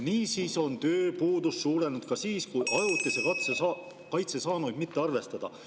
Niisiis on tööpuudus suurenenud ka siis, kui ajutise kaitse saanuid mitte arvestada.